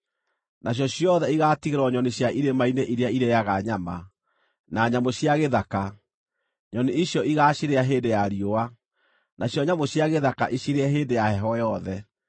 Nacio ciothe igaatigĩrwo nyoni cia irĩma-inĩ iria irĩĩaga nyama, na nyamũ cia gĩthaka; nyoni icio igaacirĩa hĩndĩ ya riũa, nacio nyamũ cia gĩthaka icirĩe hĩndĩ ya heho yothe.